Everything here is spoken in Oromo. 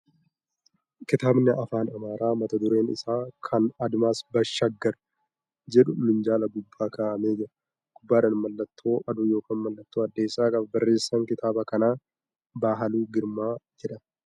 Kitaabni Afaan Amaaraa mata dureen isaa ' Ka Admaas Baashaaggar ' jedhu minjaala gubbaa kaa'amee jira . Gubbaadhaan mallattoo aduu yookan mallattoo addeessaa qaba. Barreessaan kitaaba kanaa Bahaaluu Girmaa jedhama.